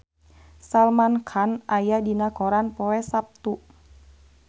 Salman Khan aya dina koran poe Saptu